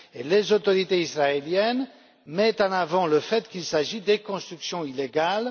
Les autorités israéliennes mettent en avant le fait qu'il s'agit de constructions illégales.